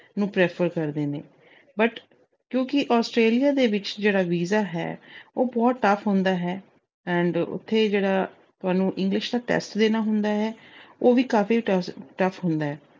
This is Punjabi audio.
ਨੂੰ prefer ਕਰਦੇ ਨੇ but ਕਿਉਂਕਿ Australia ਦੇ ਵਿੱਚ ਜਿਹੜਾ visa ਹੈ, ਉਹ ਬਹੁਤ tough ਹੁੰਦਾ ਹੈ and ਉਥੇ ਜਿਹੜਾ ਤੁਹਾਨੂੰ English ਦਾ test ਦੇਣਾ ਹੁੰਦਾ ਹੈ, ਉਹ ਵੀ ਕਾਫੀ tough ਅਹ ਹੁੰਦਾ ਹੈ।